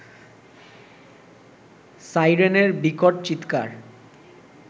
সাইরেনের বিকট চিৎকার